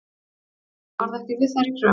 Dómarinn varð ekki við þeirri kröfu